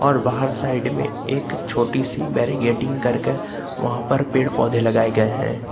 और बाहर साइड में एक छोटी सी बैरीकेडिंग करके वहां पर पेड़ पौधे लगाए गए है।